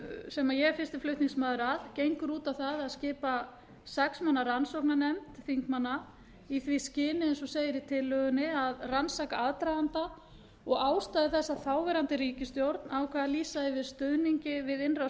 sem ég er fyrsti flutningsmaður að gengur út á það að skipa a manna rannsóknarnefnd þingmanna í því skyni eins og segir í tillögunni að rannsaka aðdraganda og ástæður þess að þáverandi ríkisstjórn íslands ákvað að lýsa yfir stuðningi við innrás